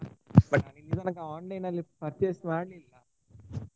But ನಾನು ಇಲ್ಲಿ ತನಕ online ನಲ್ಲಿ ತುಂಬಾ purchase ಮಾಡ್ಲಿಲ್ಲ.